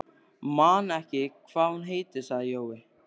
Man ekki hvað hún heitir, sagði Jói.